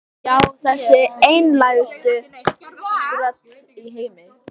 Já, þessi einlægustu skröll í heimi.